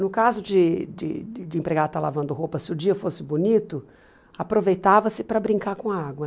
No caso de de de empregada estar lavando roupa, se o dia fosse bonito, aproveitava-se para brincar com a água.